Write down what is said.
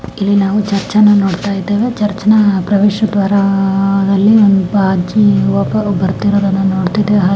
ಇಲ್ಲಿ ನಾವು ಚರ್ಚನ್ನ ನೋಡ್ತಾ ಇದ್ದೇವೆ. ಚರ್ಚ್ನ ಪ್ರವೇಶ ದ್ವಾರದಲ್ಲಿ ಒಬ್ಬ ಅಜ್ಜಿ ಒಬ್ಬರು ಬರುತ್ತಿರುವುದನ್ನು ನೋಡುತ್ತಿದ್ದೇವೆ.